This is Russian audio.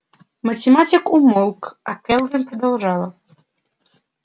математик умолк а кэлвин продолжала